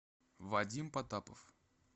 вадим потапов